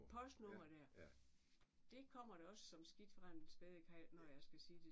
Postnummer der! Det kommer da også som skidt fra en spædekalv når jeg skal sige det